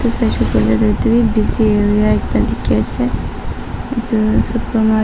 Sai koile etu beh busy area ekta dekhe ase etu tu super market.